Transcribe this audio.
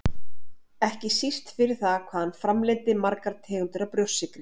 ekki síst fyrir það hvað hann framleiddi margar tegundir af brjóstsykri.